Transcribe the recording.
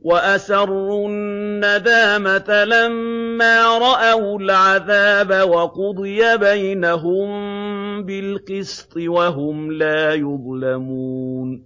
وَأَسَرُّوا النَّدَامَةَ لَمَّا رَأَوُا الْعَذَابَ ۖ وَقُضِيَ بَيْنَهُم بِالْقِسْطِ ۚ وَهُمْ لَا يُظْلَمُونَ